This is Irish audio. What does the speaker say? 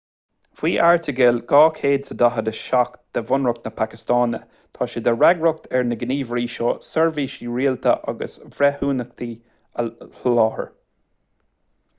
faoi airteagal 247 de bhunreacht na pacastáine tá sé de fhreagracht ar na gníomhairí seo seirbhísí rialtais agus breithiúnacha a sholáthar